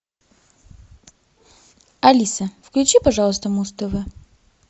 алиса включи пожалуйста муз тв